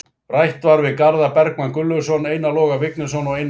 Rætt var við Garðar Bergmann Gunnlaugsson, Einar Loga Vignisson og Einar Hólmgeirsson.